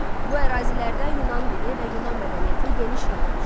Bu ərazilərdə Yunan dili və Yunan mədəniyyəti geniş yayılmışdı.